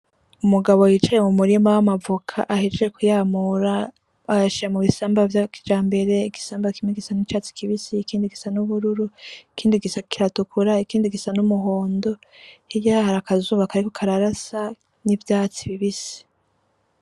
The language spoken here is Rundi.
Umugabo yicaye mu murima w'amavoka ahejeje kuyamura ayashira mubisamba vya kijambere , igisamba kimwe gisa n'icatsi kibisi , ikindi gisa n'ubururu , ikindi kiratukura , ikindi gisa n'umuhondo , hirya harakazuba kariko kararasa , n'ivyatsi bibisi .